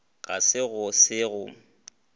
ga se go se go